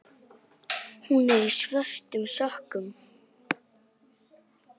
Hún er í svörtum sokkum.